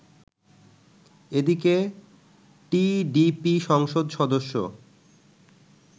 এদিকে টিডিপি সংসদ সদস্য